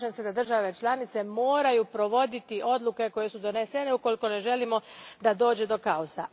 Slažem se da države članice moraju provoditi odluke koje su donesene ukoliko ne želimo da dođe do kaosa.